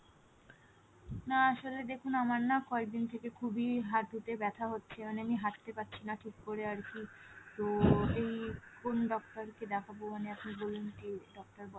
না আসলে দেখুন আমার না কয়েকদিন থেকে খুবই হাঁটুতে ব্যাথা হচ্ছে মানে আমি হাঁটতে পারছিনা ঠিককরে আরকি তো এই কোন ডাক্তার কে দেখাবো না কি বলেন কি